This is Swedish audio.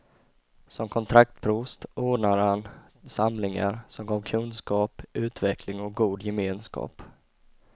Som kontraktsprost ordnade han samlingar, som gav kunskap, utveckling och god gemenskap.